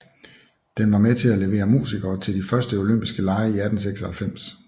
Den var med til at levere musikere til de første olympiske lege i 1896